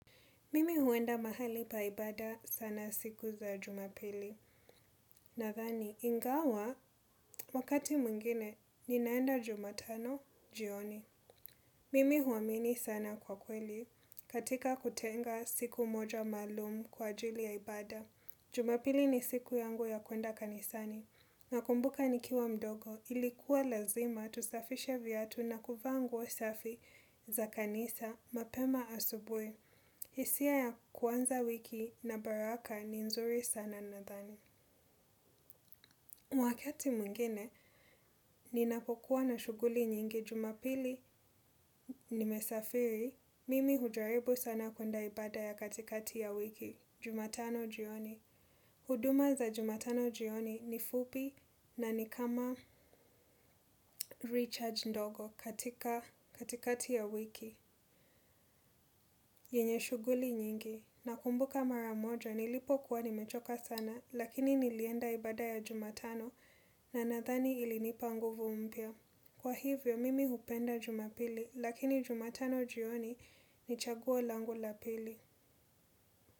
Mimi huenda mahali pa ibada sana siku za jumapili. Nadhani ingawa wakati mwingine ninaenda jumatano jioni. Mimi huamini sana kwa kweli katika kutenga siku moja maalum kwa ajili ya ibada. Jumapili ni siku yangu ya kuenda kanisani. Nakumbuka nikiwa mdogo ilikuwa lazima tusafishe viatu na kuvaa nguo safi za kanisa mapema asubuhi. Hisia ya kuanza wiki na baraka ni nzuri sana nathani. Wakati mwingine, ninapokuwa na shughuli nyingi jumapili nimesafiri. Mimi hujaribu sana kuenda ibada ya katikati ya wiki, jumatano jioni. Huduma za jumatano jioni ni fupi na ni kama recharge ndogo katika katikati ya wiki. Yenye shughuli nyingi. Nakumbuka mara moja nilipo kuwa nimechoka sana lakini nilienda ibada ya jumatano na nathani ilinipa nguvu mpya. Kwa hivyo mimi hupenda jumapili lakini jumatano jioni ni chaguo langu la pili.